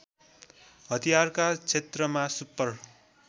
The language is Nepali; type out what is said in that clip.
हतियारका क्षेत्रमा सुपर